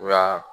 Wa